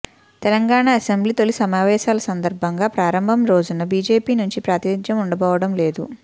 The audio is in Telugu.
తెలంగాణ అసెంబ్లీ తొలి సమావేశాల సందర్భంగా ప్రారంభం రోజున బీజేపీ నుంచి ప్రాతినిధ్యం ఉండబోవడం లేదు